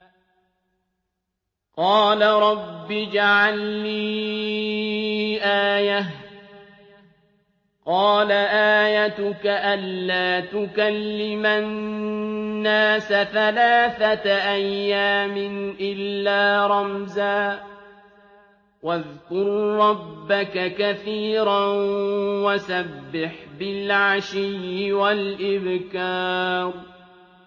قَالَ رَبِّ اجْعَل لِّي آيَةً ۖ قَالَ آيَتُكَ أَلَّا تُكَلِّمَ النَّاسَ ثَلَاثَةَ أَيَّامٍ إِلَّا رَمْزًا ۗ وَاذْكُر رَّبَّكَ كَثِيرًا وَسَبِّحْ بِالْعَشِيِّ وَالْإِبْكَارِ